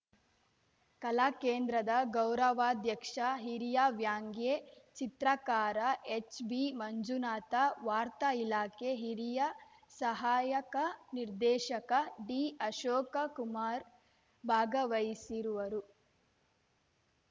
ಕಲಾಕೇಂದ್ರದ ಗೌರವಾಧ್ಯಕ್ಷ ಹಿರಿಯ ವ್ಯಾಂಗ್ಯೇ ಚಿತ್ರಕಾರ ಎಚ್‌ಬಿಮಂಜುನಾಥ ವಾರ್ತಾ ಇಲಾಖೆ ಹಿರಿಯ ಸಹಾಯಕ ನಿರ್ದೇಶಕ ಡಿಅಶೋಕಕುಮಾರ್ ಭಾಗವಹಿಸಿರುವರು